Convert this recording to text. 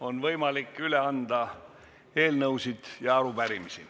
On võimalik üle anda eelnõusid ja arupärimisi.